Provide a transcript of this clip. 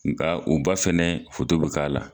Nga u ba fɛnɛ be k'a la.